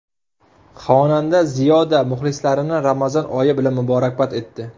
Xonanda Ziyoda muxlislarini Ramazon oyi bilan muborakbod etdi.